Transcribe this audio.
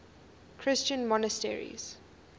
christian monasteries